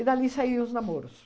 E dali saíam os namoros.